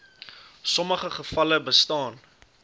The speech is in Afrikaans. sommige gevalle bestaan